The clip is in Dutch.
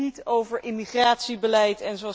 Het gaat hier niet over immigratiebeleid.